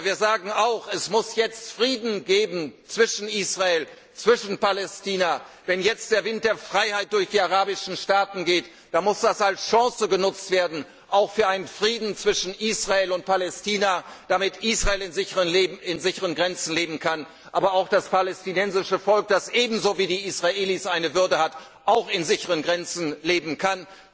Aber wir sagen auch, es muss jetzt Frieden zwischen Israel und Palästina geben. Wenn jetzt der Wind der Freiheit durch die arabischen Staaten weht, dann muss das als Chance genutzt werden, auch für einen Frieden zwischen Israel und Palästina, damit Israel in sicheren Grenzen leben kann, aber auch das palästinensische Volk, das ebenso wie die Israelis eine Würde hat, auch in sicheren Grenzen leben kann.